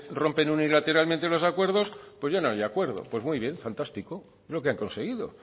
rompen unilateralmente los acuerdos pues ya no hay acuerdo pues muy bien fantástico es lo que han conseguido